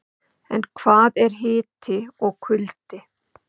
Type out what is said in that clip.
En hvað er hiti og kuldi?.